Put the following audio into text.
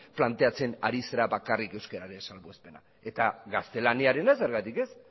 planteatzen ari zara bakarrik euskararen salbuespena eta gaztelaniarena zergatik ez